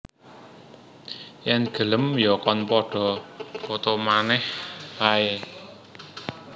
Yen gelem ya kon padha poto manèh ae